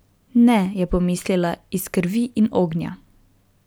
Ne, je pomislila, iz krvi in ognja.